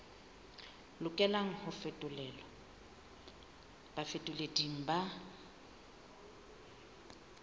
lokelang ho fetolelwa bafetoleding ba